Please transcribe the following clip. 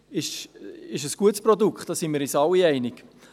Es ist ein gutes Produkt, da sind wir uns alle einig.